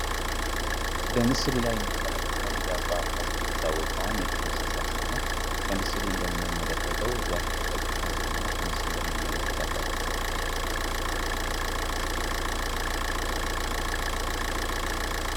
በምስሉ ላይ የምንመለከተው ሚዳቋ በመባል የምትታወቀዋን የዱር እእንስሳት ሲሆን በምስሉ እንደምንመለከተው ዛፍ ተጠግታ ቂማ ከምስሉ ላይ እንመለከታታለን።